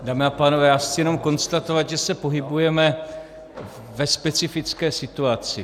Dámy a pánové, já chci jenom konstatovat, že se pohybujeme ve specifické situaci.